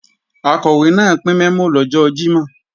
Akọ̀wé náà pín mẹ́mò lọ́jọ́ Jímọ̀